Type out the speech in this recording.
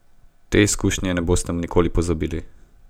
Te izkušnje ne boste nikoli pozabili.